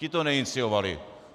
Ten to neinicioval.